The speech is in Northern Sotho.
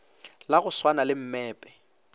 la go swana le mmepe